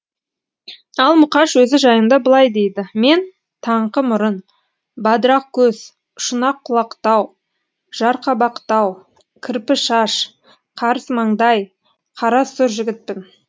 ал мұқаш өзі жайында былай дейді мен таңқы мұрын бадырақ көз шұнақ құлақтау жарқабақтау кірпі шаш қарыс маңдай қара сұр жігітпін